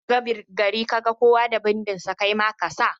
In kashiga gari kaga kowa da bindi kaima kasa.